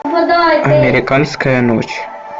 американская ночь